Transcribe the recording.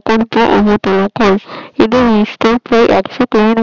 একসাথে প্রায় একশো মিটার হয়